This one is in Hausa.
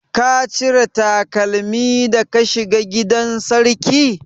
Ka cire takalmi da ka shiga gidan sarki?